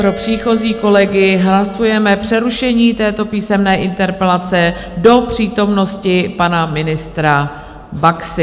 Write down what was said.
Pro příchozí kolegy: hlasujeme přerušení této písemné interpelace do přítomnosti pana ministra Baxy.